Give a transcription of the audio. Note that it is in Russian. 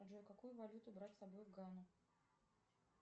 джой какую валюту брать с собой в гану